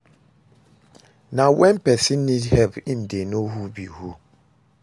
Na when persin need help im de know who be who